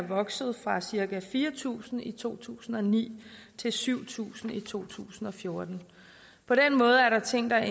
vokset fra cirka fire tusind i to tusind og ni til syv tusind i to tusind og fjorten på den måde er der ting der